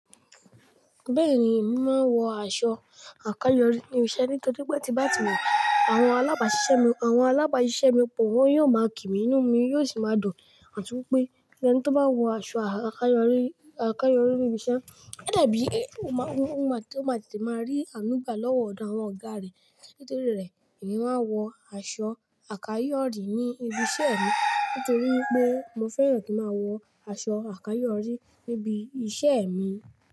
Bẹ́ẹ̀ni, mo máa wọ aṣọ àkáyọ̀rí ní ibi iṣẹ́ nítorí pé tí bá ti wọ̀, àwọn alábàjẹ́ṣẹ́ mi pọ̀ wọ́n yóò máa kí mi nùú mi yóò sì máa dùn àtúnpé. Ẹni tó bá wọ aṣọ akáyòrí àkáyọ̀rí ní ibi iṣẹ́, ó dàbí ó máa ó máa tete máa rí ànúgbà lọ́wọ́ ọ̀dọ̀ àwọn ọ̀gá rẹ̀. Nítorí rẹ̀, èmi máa wọ aṣọ àkáyọ̀rí ní ibi iṣẹ́ mi nítorí pé mo fẹ́ràn kí n máa wọ aṣọ àkáyọ̀rí níbi iṣẹ́ mi.